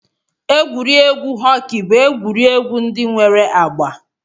Egwuregwu họkị bụ egwuregwu ndị nwere agba